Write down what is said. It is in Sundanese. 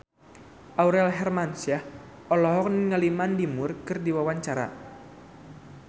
Aurel Hermansyah olohok ningali Mandy Moore keur diwawancara